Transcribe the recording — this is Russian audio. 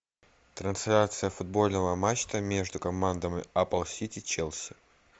трансляция футбольного матча между командами апл сити челси